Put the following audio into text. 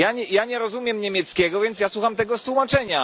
Ja nie rozumiem niemieckiego, więc ja słucham tego tłumaczenia.